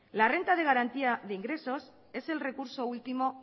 la renta de garantía de ingresos es el recurso último